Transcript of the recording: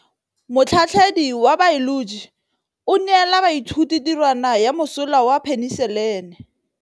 Motlhatlhaledi wa baeloji o neela baithuti tirwana ya mosola wa peniselene.